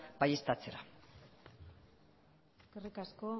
baieztatzera eskerrik asko